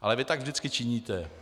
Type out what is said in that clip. Ale vy tak vždycky činíte.